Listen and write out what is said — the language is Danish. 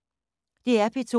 DR P2